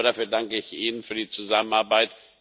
Aber dafür danke ich Ihnen für die Zusammenarbeit.